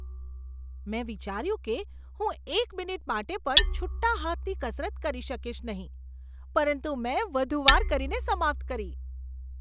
મેં વિચાર્યું કે હું એક મિનિટ માટે પણ છુટ્ટા હાથની કસરત કરી શકીશ નહીં, પરંતુ મેં વધુ વાર કરીને સમાપ્ત કરી.